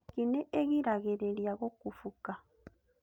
Nyeki nĩ ĩgiragĩrĩria gũkũbũka